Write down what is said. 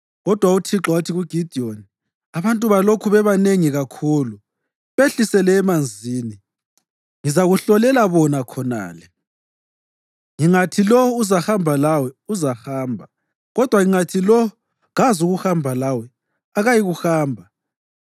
Kodwa uThixo wathi kuGidiyoni, “Abantu balokhu bebanengi kakhulu. Behlisele emanzini, ngizakuhlolela bona khonale. Ngingathi, ‘Lo uzahamba lawe,’ uzahamba; kodwa ngingathi, ‘Lo kazukuhamba lawe,’ akayikuhamba.”